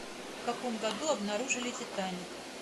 в каком году обнаружили титаник